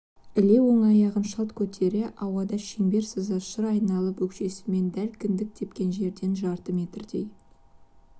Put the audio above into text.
іле оң аяғын шалт көтере ауада шеңбер сыза шыр айналып өкшесімен дәл кіндіктен тепкен жерден жарты метрдей